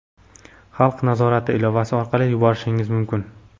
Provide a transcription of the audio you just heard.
"Xalq nazorati" ilovasi orqali yuborishingiz mumkin.